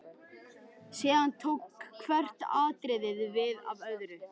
Síðan tók hvert atriðið við af öðru.